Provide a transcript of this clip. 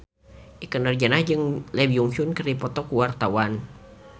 Ikke Nurjanah jeung Lee Byung Hun keur dipoto ku wartawan